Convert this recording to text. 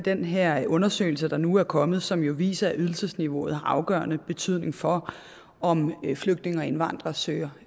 den her undersøgelse der nu er kommet som jo viser at ydelsesniveauet har afgørende betydning for om flygtninge og indvandrere søger